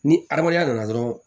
Ni adamadenya nana dɔrɔn